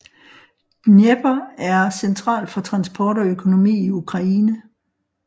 Dnepr er central for transport og økonomi i Ukraine